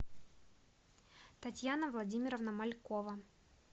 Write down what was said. татьяна владимировна малькова